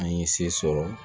An ye se sɔrɔ